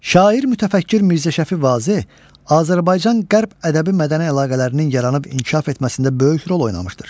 Şair mütəfəkkir Mirzə Şəfi Vazeh Azərbaycan qərb ədəbi mədəni əlaqələrinin yaranıb inkişaf etməsində böyük rol oynamışdır.